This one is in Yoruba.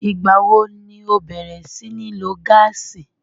Ìgbà wo ni ẹ bẹ̀rẹ̀ sí ní lo gáàsì?